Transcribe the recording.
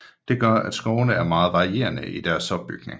Det gør at skovene er meget varierede i deres opbygning